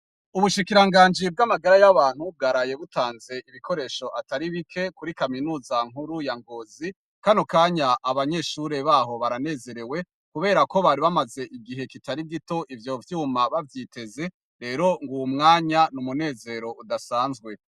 Ubushikiranganji bwamagara y’abantu bwaraye butanze ibikoresho atari bike kuri kaminuza nkuru ya Ngozi, kano kanya abanyeshure baho baranezerewe kuberako bari bamaze igihe kitari gito ivyo vyuma bavyiteze, rero nguyu mwanya n’umunezero udasanzwe.